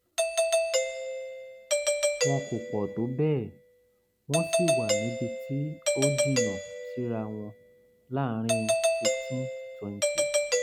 wọn kò pọ̀ tó bẹ́ẹ̀ wọ́n sì wà níbi tó jìnnà síra wọn láàárín fifteen twenty